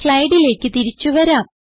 സ്ലൈഡിലേക്ക് തിരിച്ചു വരാം